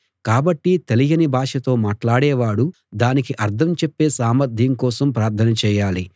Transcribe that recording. కాబట్టి తెలియని భాషతో మాట్లాడేవాడు దానికి అర్థం చెప్పే సామర్ధ్యం కోసం ప్రార్థన చేయాలి